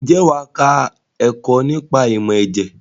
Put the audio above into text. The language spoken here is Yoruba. Ǹjẹ́ wà á kọ́ ẹ̀kọ́ nípa ìmọ̀ ẹ̀jẹ̀?